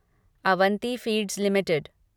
Avanti feeds limited